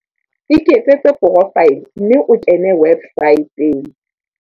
Iketsetse porofaele mme o kene websaeteng.